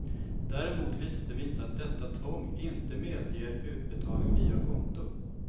Däremot visste vi inte att detta tvång inte medger utbetalning via konto.